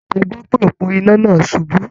A gbọ́ pé òpó iná náà ṣubú.